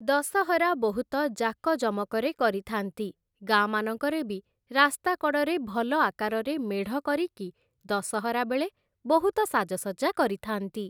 ଦଶହରା ବହୁତ ଜାକଜମକରେ କରିଥାନ୍ତି, ଗାଁମାନଙ୍କରେ ବି ରାସ୍ତା କଡ଼ରେ ଭଲ ଆକାରରେ ମେଢ଼ କରିକି, ଦଶହରା ବେଳେ ବହୁତ ସାଜସଜ୍ଜା କରିଥାନ୍ତି ।